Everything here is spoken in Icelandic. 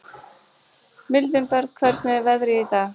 Mildinberg, hvernig er veðrið í dag?